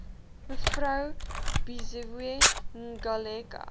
mev buziwe ngaleka